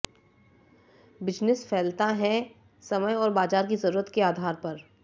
business फैलता है समय और बाज़ार की ज़रूरत के आधार पर